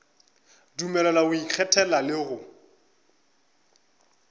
dumelelwa go ikgethela le go